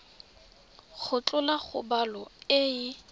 go tlhola kgobalo e e